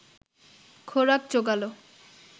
খোরাক জোগাল